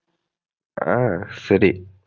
ஆஹ் சரி.